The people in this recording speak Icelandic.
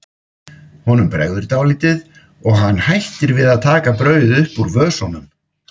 Honum bregður dálítið og hann hættir við að taka brauðið upp úr vösunum.